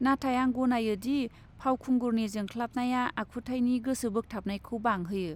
नाथाय आं गनायो दि फावखुंगुरनि जोंख्लाबनाया आखुथाइनि गोसो बोगथाबनायखौ बांहोयो।